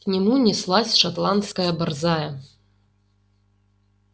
к нему неслась шотландская борзая